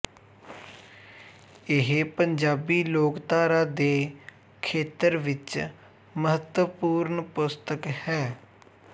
ਇਹ ਪੰਜਾਬੀ ਲੋਕਧਾਰਾ ਦੇ ਖੇਤਰ ਵਿੱਚ ਮਹੱਤਵਪੂਰਨ ਪੁਸਤਕ ਹੈ